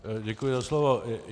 Děkuji za slovo.